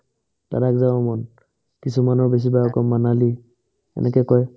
লাডাখ যাব মন কিছুমানৰ বেছিভাগ আকৌ মানালী এনেকে কই